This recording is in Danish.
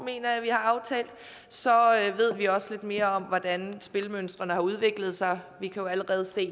mener jeg vi har aftalt så ved vi også lidt mere om hvordan spilmønstrene har udviklet sig vi kan allerede